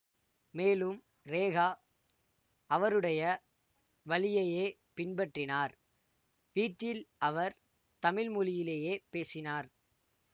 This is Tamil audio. மேலும் ரேகா அவருடைய வழியையே பின்பற்றினார் வீட்டில் அவர் தமிழ் மொழியிலேயே பேசினார்